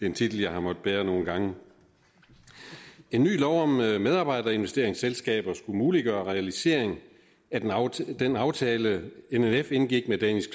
en titel jeg har måttet bære nogle gange en ny lov om medarbejderinvesteringsselskaber skulle muliggøre realisering af den aftale den aftale nnf indgik med danish